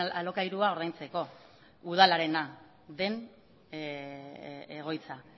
alokairua ordaintzeko udalarena den egoitza